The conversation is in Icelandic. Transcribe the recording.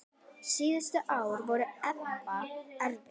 Síðustu ár voru Edda erfið.